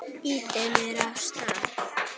Ýtir mér af stað.